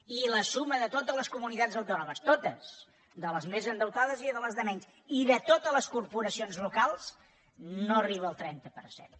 i la suma dels de totes les comunitats autònomes totes les més endeutades i les menys i de totes les corporacions locals no arriba al trenta per cent